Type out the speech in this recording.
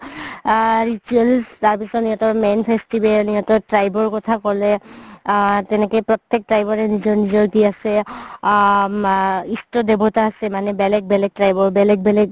আ rituals তাৰ পিছত সিহতৰ main festival সিহতৰ tribe ৰ কথা ক'লে আ তেনেকে প্ৰতেক tribe ৰে নিজৰ নিজৰ কি আছে আ মা দেৱতা আছে মানে বেলেগ বেলেগ tribe ৰ বেলেগ বেলেগ